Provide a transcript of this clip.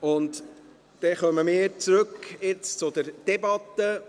Dann kommen wir jetzt zurück zur Debatte: